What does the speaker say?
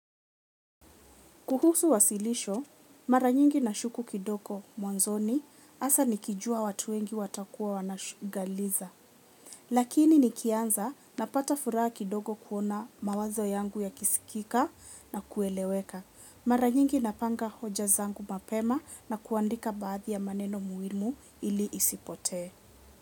Kuhusu wasilisho, mara nyingi nashuku kidogo mwanzoni hasa nikijua watu wengi watakuwa wana galiza. Lakini nikianza napata furaha kidogo kuona mawazo yangu yakisikika na kueleweka. Mara nyingi napanga hoja zangu mapema na kuandika baadhi ya maneno muhimu ili isipotee.